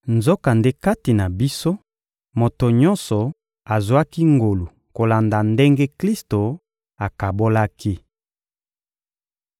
Nzokande kati na biso, moto nyonso azwaki ngolu kolanda ndenge Klisto akabolaki.